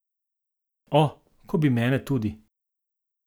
O, ko bi mene tudi.